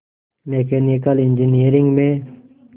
mechanical engineering में